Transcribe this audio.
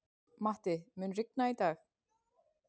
Matti, mun rigna í dag?